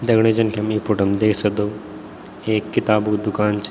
दगडियों जन की हम यी फोटो मा देख सक्दो एक किताबु दूकान च।